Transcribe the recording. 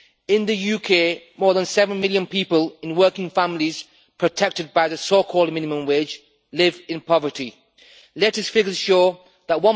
In the UK, more than seven million people in working families protected by the so-called minimum wage live in poverty. The latest figures show that